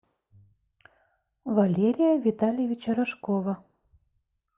валерия витальевича рожкова